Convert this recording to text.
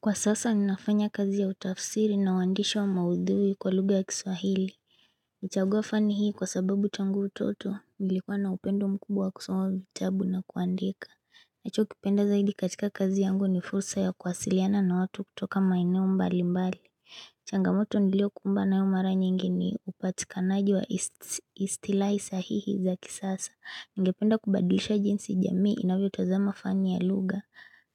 Kwa sasa ninafanya kazi ya utafsiri na wandishi wa maudhuwi kwa lugha ya kiswahili. Nilichaguwa fani hii kwa sababu tangu utoto, nilikuwa na upendo mkubwa wa kusoma vitabu na kuandika. Nacho kipenda zaidi katika kazi yangu ni fursa ya kuwasiliana na watu kutoka maeneo mbali mbali. Changamoto nilio kumbana nayo mara nyingi ni upatika naaji wa istilai sahihi za kisasa. Ningependa kubadilisha jinsi jamii inavyo tazama fani ya lugha.